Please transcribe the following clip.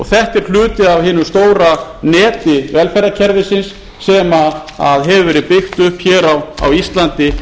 þetta er hluti af hinu stóra neti velferðarkerfisins sem hefur verið byggt upp á íslandi